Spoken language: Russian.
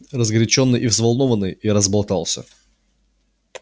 разгорячённый и взволнованный я разболтался